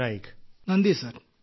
group captain നന്ദി sir